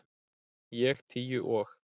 Ég tíu og